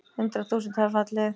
Hundruð þúsunda hafa fallið.